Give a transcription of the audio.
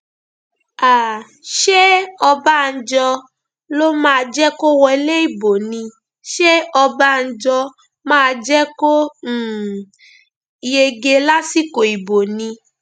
um ṣé ọbànjọ ló máa jẹ kó wọlé ibo ni ṣé ọbànjọ máa jẹ kó um yege lásìkò ibo ni